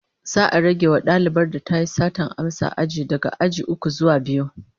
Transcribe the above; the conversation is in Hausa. Za'a rage wa dalibar da tayi satar amsa aji daga aji uku zuwa biyu